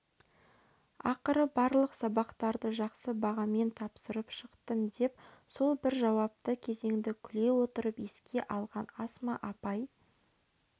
ақыры барлық сабақтарды жақсы бағамен тапсырып шықтым деп сол бір жауапты кезеңді күле отырып еске алған асма апай